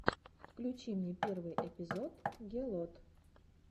включи мне первый эпизод гелот